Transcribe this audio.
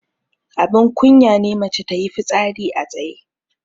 Abun kunya ne mace tayi fitsari a tsaye.